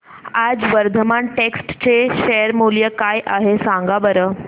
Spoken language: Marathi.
आज वर्धमान टेक्स्ट चे शेअर मूल्य काय आहे सांगा बरं